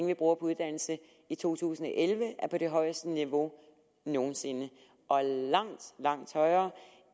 vi bruger på uddannelse i to tusind og elleve er på det højeste niveau nogen sinde langt langt højere